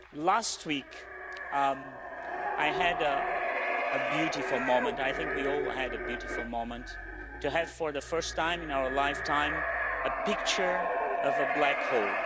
Last week, I had a beautiful moment. I think we all had a beautiful moment to have for the first time in our lifetime a picture of a black hole.